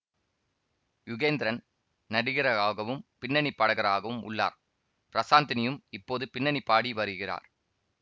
யுகேந்திரன் நடிகராகவும் பின்னணி பாடகராகவும் உள்ளார் பிரசாந்தினியும் இப்போது பின்னணி பாடி வருகிறார்